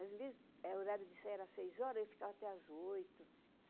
Às vezes, o horário de saída era seis horas, eu ficava até às oito.